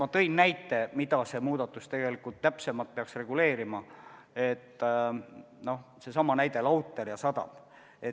Ma tõin näite, mida see muudatus tegelikult reguleerima peaks, seesama lautri ja sadama näide.